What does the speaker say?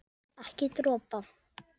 Ekki dropa.